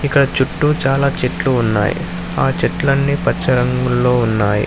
ఇంకా చుట్టూ చాలా చెట్లు ఉన్నాయి ఆ చెట్లన్ని పచ్చ రంగుల్లో ఉన్నాయి.